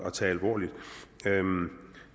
at tage alvorligt